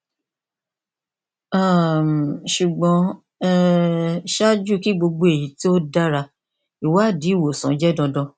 um ṣugbọn um ṣaaju ki gbogbo eyi ti o dara iwadi iwosan jẹ dandan